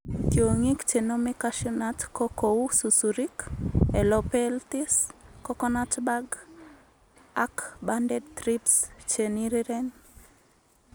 Tiong'ik chenome cashew nut ko kou susurik, helopeltis, coconut bug ak banded thrips cheniriren